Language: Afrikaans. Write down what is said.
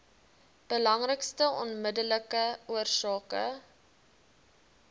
belangrikste onmiddellike oorsake